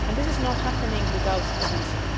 And this is not happening without a reason.